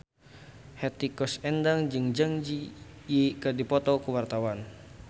Hetty Koes Endang jeung Zang Zi Yi keur dipoto ku wartawan